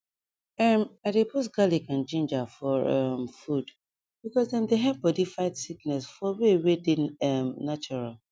em i dey put garlic and ginger for um food because dem dey help bodi fight sickness for way wey dey um natural